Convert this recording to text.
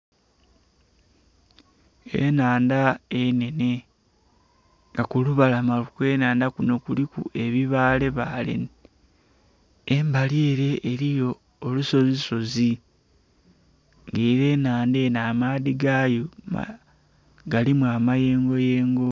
Enhandha enhenhe nga kulubalama okw'enhandha kuno kuliku ebibaale baale embali ere eriyo olusozi sozi era enhandha eno amaadhi gayo galimu amayengo yengo.